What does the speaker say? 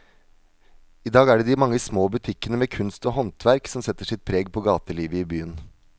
I dag er det de mange små butikkene med kunst og håndverk som setter sitt preg på gatelivet i byen.